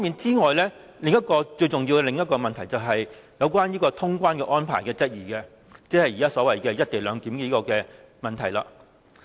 此外，最重要的另一個問題，就是質疑通關的安排，即是現時所謂"一地兩檢"的問題。